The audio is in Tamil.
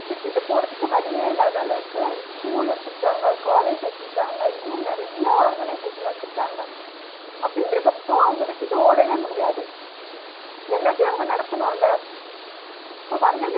விட்டுட்டு போறதுக்கு வழியே இல்லாத அளவுக்கு schoool வச்சுருக்காங்க college வச்சுருக்காங்க இன்னும் நிறைய organisation வச்சுருக்காங்க அப்டின்னு இருக்றப்போ அவுங்க விட்டுட்டு ஓடவே முடியாது எல்லாத்தயு அவுங்க நடத்தனுல so வந்த